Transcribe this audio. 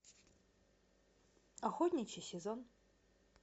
охотничий сезон